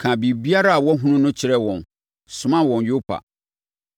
kaa biribiara a wahunu no kyerɛɛ wɔn, somaa wɔn Yopa.